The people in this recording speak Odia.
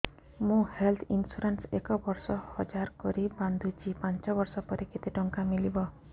ମୁ ହେଲ୍ଥ ଇନ୍ସୁରାନ୍ସ ଏକ ବର୍ଷକୁ ହଜାର କରି ବାନ୍ଧୁଛି ପାଞ୍ଚ ବର୍ଷ ପରେ କେତେ ଟଙ୍କା ମିଳିବ